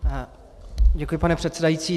Děkuji, pane předsedající.